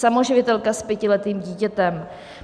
Samoživitelka s pětiletým dítětem!